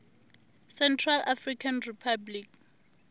central african republic